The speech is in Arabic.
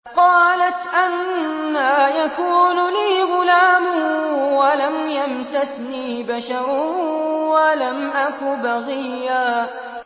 قَالَتْ أَنَّىٰ يَكُونُ لِي غُلَامٌ وَلَمْ يَمْسَسْنِي بَشَرٌ وَلَمْ أَكُ بَغِيًّا